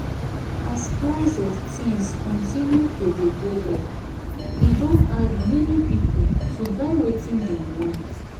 as price of things continue to dey go up e don hard many people to buy wetin dem want